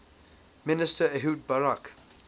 minister ehud barak